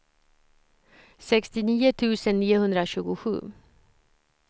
sextionio tusen niohundratjugosju